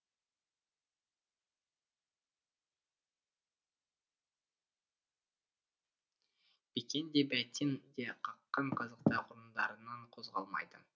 бикен де бәйтен де қаққан қазықтай орындарынан қозғалмайды